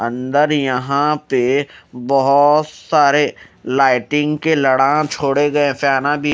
अंदर यहां पे बहोत सारे लाइटिंग के लडान छोड़े गए फेना भी--